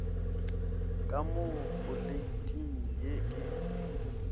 ka mo poleiting ye ke